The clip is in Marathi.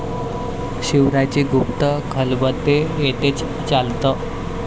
शिवरायांची गुप्त खलबते येथेच चालत.